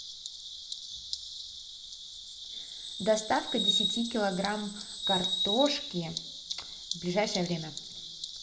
доставка десяти килограмм картошки в ближайшее время